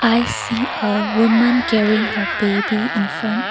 i see a women carrying her baby infront.